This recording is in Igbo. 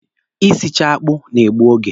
Isicha akpụ na-egbu oge.